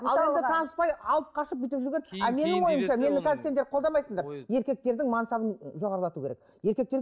ал енді таныспай алып қашып бүйтіп жүрген а менің ойымша мені қазір сендер қолдамайсыңдар еркектердің мансабын ы жоғарлату керек еркектер